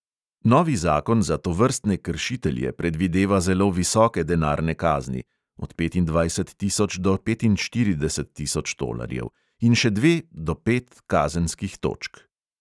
Novi zakon za tovrstne kršitelje predvideva zelo visoke denarne kazni (od petindvajset tisoč do petinštirideset tisoč tolarjev) in še dve do pet kazenskih točk.